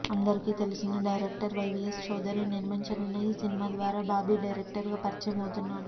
అందరికీ తెలిసిన డైరెక్టర్ వైవిఎస్ చౌదరి నిర్మించనున్న ఈ సినిమా ద్వారా బాబీ డైరెక్టర్ గా పరిచయమవుతున్నాడు